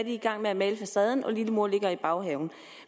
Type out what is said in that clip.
i gang med at male facaden og lillemor ligger i baghaven